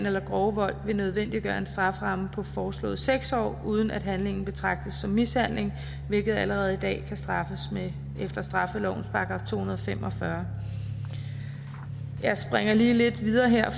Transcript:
eller grove vold vil nødvendiggøre en strafferamme på foreslået seks år uden at handlingen betragtes som mishandling hvilket allerede i dag kan straffes efter straffelovens § to hundrede og fem og fyrre jeg springer lige lidt videre her